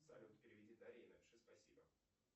салют переведи дарье и напиши спасибо